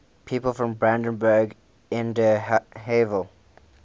people from brandenburg an der havel